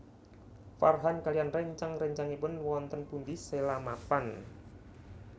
Farhan kaliyan réncang réncangipun wonten pundi Sheila mapan